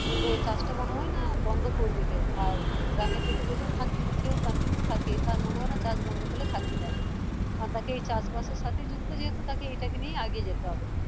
তো চাষ টা মনে হয়না বন্ধ করবে কেউ আর গ্রামের থেকে যদি কেউ continue থাকে তার মনে হয়না চাষ বন্ধ থাকলে থাকতে পারবে আর বাকি চাষ বাসের সাথে যুক্ত যেহেতু তাকে এইটাকে নিয়েই আগিয়ে যেতে হবে